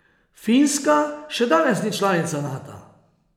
Finska še danes ni članica Nata.